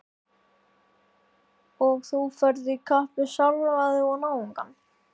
Og þú ferð í kapp við sjálfan þig og náungann.